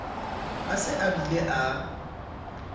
a se a bile a